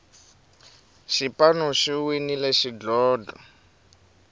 xipanu xi winile xidlodlo